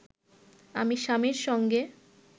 আমি স্বামীর সঙ্গে